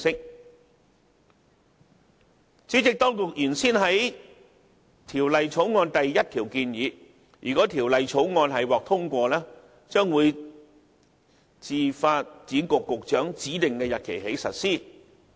代理主席，當局原先於《條例草案》第1條建議，倘若《條例草案》獲得通過，新法例將自發展局局長指定的日期起實施。